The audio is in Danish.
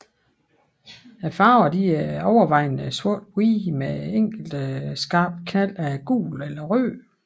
Farverne er overvejende sorthvidt med enkelte skarpe knald af gult eller rødt